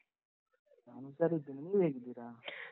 ನಾನ್ ಹುಷಾರಿದ್ದೇನೆ. ನೀವು ಹೇಗಿದ್ದೀರಾ? .